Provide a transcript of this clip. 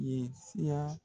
ye siya..